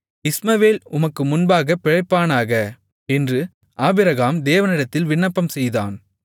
இஸ்மவேல் உமக்கு முன்பாகப் பிழைப்பானாக என்று ஆபிரகாம் தேவனிடத்தில் விண்ணப்பம்செய்தான்